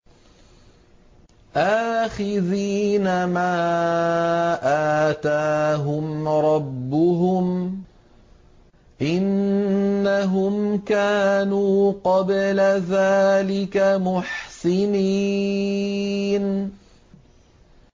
آخِذِينَ مَا آتَاهُمْ رَبُّهُمْ ۚ إِنَّهُمْ كَانُوا قَبْلَ ذَٰلِكَ مُحْسِنِينَ